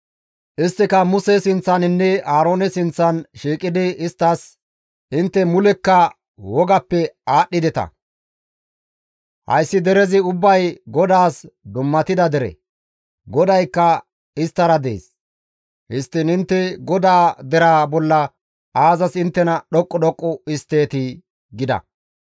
Isttika Muse sinththaninne Aaroone sinththan shiiqidi isttas, «Intte mulekka wogappe aadhdhideta! Hayssi derezi ubbay GODAAS dummatida dere; GODAYKKA isttara dees; histtiin intte GODAA deraa bolla aazas inttena dhoqqu dhoqqu histteetii?» gida.